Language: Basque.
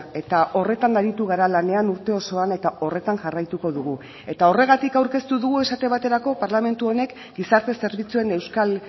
eta horretan aritu gara lanean urte osoan eta horretan jarraituko dugu eta horregatik aurkeztu dugu esate baterako parlamentu honek gizarte zerbitzuen euskal